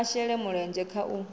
a shele mulenzhe kha u